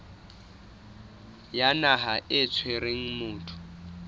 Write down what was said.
ya naha e tshwereng motho